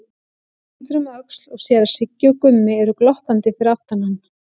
Hann lítur um öxl og sér að Siggi og Gummi eru glottandi fyrir aftan hann.